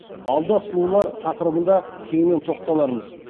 алда сұлулар тақырыбында кеңінен тоқталармыз